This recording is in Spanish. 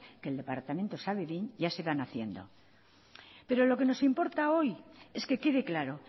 que el departamento sabe bien ya se van haciendo pero lo que nos importa hoy es que quede claro